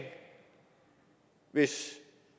hvis